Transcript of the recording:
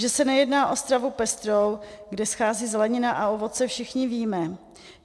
Že se nejedná o stravu pestrou, kde schází zelenina a ovoce, všichni víme.